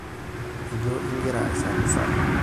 Ijo ingira aisarrisarr?